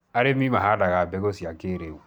arĩmi mahandaga mbegũ cia kĩiriu